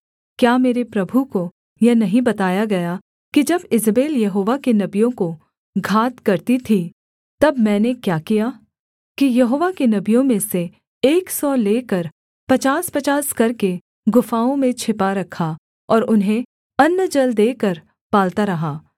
क्या मेरे प्रभु को यह नहीं बताया गया कि जब ईजेबेल यहोवा के नबियों को घात करती थी तब मैंने क्या किया कि यहोवा के नबियों में से एक सौ लेकर पचासपचास करके गुफाओं में छिपा रखा और उन्हें अन्न जल देकर पालता रहा